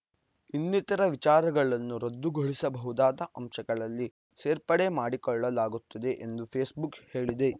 ಇನ್ನಿತರ ವಿಚಾರಗಳನ್ನು ರದ್ದುಗೊಳಿಸಬಹುದಾದ ಅಂಶಗಳಲ್ಲಿ ಸೇರ್ಪಡೆ ಮಾಡಿಕೊಳ್ಳಲಾಗುತ್ತದೆ ಎಂದು ಫೇಸ್‌ಬುಕ್‌ ಹೇಳಿದೆ